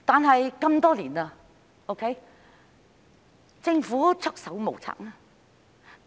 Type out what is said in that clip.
可是，多年來，政府都是束手無策。